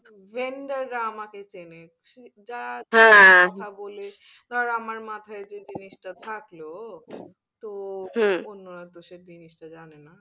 Gender রা আমাকে চেনে, কথা বল ধর আমার মাথায় যে জিনিসটা থাকলো তো তো সে জিনিসটা জানে না